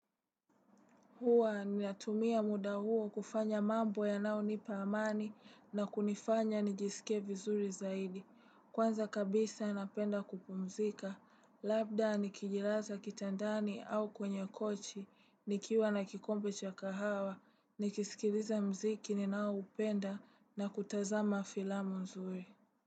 Hua ninatumia muda huo kufanya mambo yanao nipa amani na kunifanya nijisike vizuri zaidi. Kwanza kabisa napenda kupumzika, labda nikijilaza kitandani au kwenye kochi, nikiwa na kikombe cha kahawa, nikisikiliza muziki ninaoupenda na kutazama filamu nzuri.